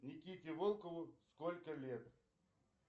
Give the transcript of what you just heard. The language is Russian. никите волкову сколько лет